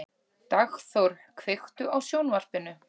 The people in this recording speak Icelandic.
Dagþór, kveiktu á sjónvarpinu.